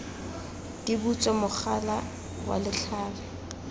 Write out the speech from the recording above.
di butswe mogala wa letlhare